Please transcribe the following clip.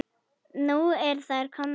Nú eru þær komnar.